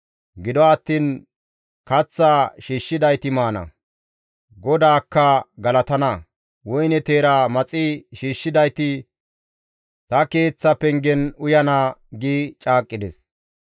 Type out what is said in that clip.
Gido attiin kaththaa shiishshidayti maana; GODAAKKA galatana; woyne teera maxi shiishshidayti ta keeththa pengen uyana» gi caaqqides.